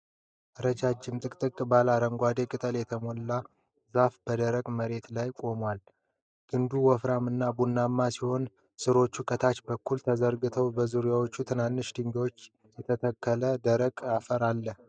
ረጃጅም፣ ጥቅጥቅ ባለ አረንጓዴ ቅጠሎች የተሞላ ዛፍ በደረቅ መሬት ላይ ይቆማል። ግንዱ ወፍራም እና ቡናማ ሲሆን ሥሮቹ ከታች በኩል ተዘርግተዋል። በዙሪያው በትንሽ ድንጋዮች የተከለለ ደረቅ አፈር አለ።